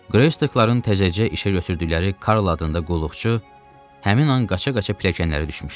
Greystokların təzəcə işə götürdükləri Karl adında qulluqçu həmin an qaça-qaça pilləkənlərə düşmüşdü.